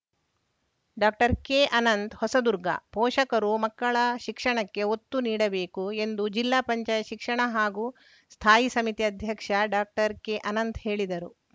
ಡಾಕ್ಟರ್ಕೆಅನಂತ್‌ ಹೊಸದುರ್ಗ ಪೋಷಕರು ಮಕ್ಕಳ ಶಿಕ್ಷಣಕ್ಕೆ ಒತ್ತು ನೀಡಬೇಕು ಎಂದು ಜಿಲ್ಲಾ ಪಂಚಾಯಿತಿ ಶಿಕ್ಷಣ ಮತ್ತು ಸ್ಥಾಯಿ ಸಮಿತಿ ಅಧ್ಯಕ್ಷ ಡಾಕ್ಟರ್ಕೆಅನಂತ್‌ ಹೇಳಿದರು